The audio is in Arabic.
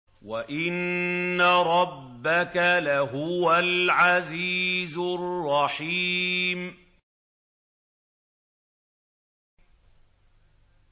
وَإِنَّ رَبَّكَ لَهُوَ الْعَزِيزُ الرَّحِيمُ